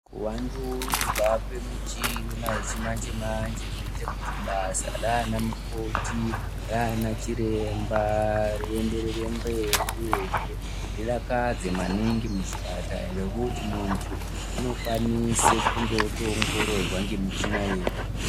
Kuwandudzwa kwemichina yechimanje-manje zviite kuti basa rana mukoti Rana chiremba rienderere mberi uyezve ridakasze maningi muzvipatara ngekuti muntu unokwanisa kunge otoongororwa ngemichina yega.